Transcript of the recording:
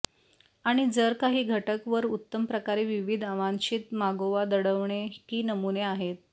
आणि जर काही घटक वर उत्तम प्रकारे विविध अवांछित मागोवा दडवणे की नमुने आहेत